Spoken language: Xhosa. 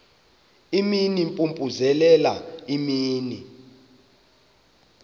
imini impompozelela imini